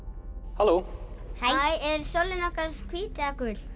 halló hæ er sólin okkar hvít eða gul